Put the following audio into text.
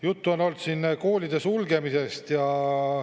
Juttu on olnud ka siin koolide sulgemisest.